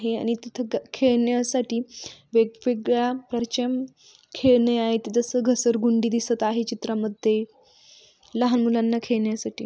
हे आणि तिथ खेळण्यासाठी वेगवेगळ्या परचम खेळण्या आहेत जस घसरगुंडी दिसत आहे चित्रामध्ये लहान मुलांना खेळण्यासाठी.